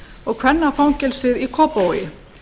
og kvennafangelsið í kópavogi